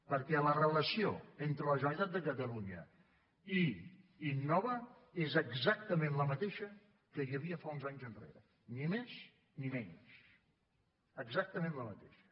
perquè la relació entre la generalitat de catalunya i innova és exactament la mateixa que hi havia fa uns anys enrere ni més ni menys exactament la mateixa